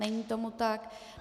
Není tomu tak.